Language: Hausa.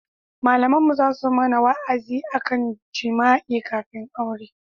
Malaminmu za su mana wa'azi a kan jima'i kafin aure